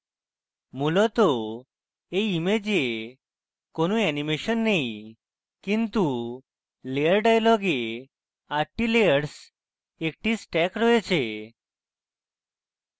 মূলত এই image কোনো অ্যানিমেশন নেই কিন্তু layer dialog আটটি layers একটি stack রয়েছে